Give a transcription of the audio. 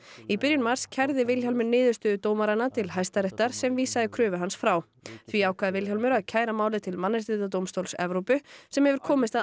í byrjun mars kærði Vilhjálmur niðurstöðu dómaranna til Hæstaréttar sem vísaði kröfu hans frá því ákvað Vilhjálmur að kæra málið til Mannréttindadómstóls Evrópu sem hefur komist að